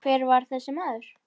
Vá, ekki batnar það!